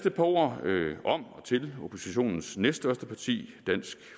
et par ord om og til oppositionens næststørste parti dansk